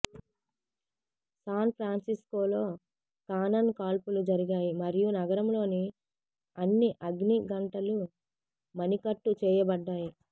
San ఫ్రాన్సిస్కోలో cannon కాల్పులు జరిగాయి మరియు నగరంలోని అన్ని అగ్ని గంటలు మణికట్టు చేయబడ్డాయి